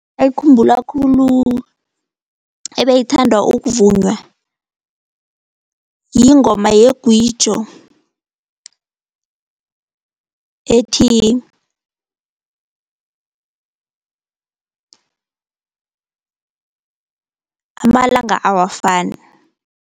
Ayikhumbula khulu ebeyithandwa ukuvunywa yingoma yeGwijo ethi amalanga awafani.